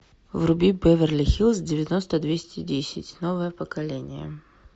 вруби беверли хиллз девяносто двести десять новое поколение